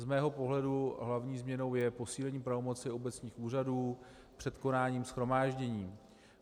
Z mého pohledu hlavní změnou je posílení pravomoci obecních úřadů před konáním shromáždění.